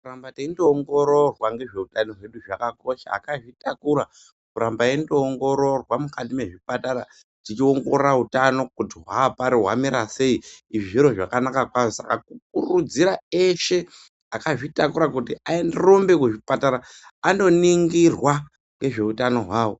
Kuramba teingoongororwa nezveutano hwedu zvakakosha akazvitakura kuramba weindoongororwa mukati mezvipatara teiongorora utano kuti hwapari hwamira sei zviro zvakanaka kwazvo saka kukurudzira eshe akazvitakura arumbe kuzvipatara andoningirwa nezveutano hwavo.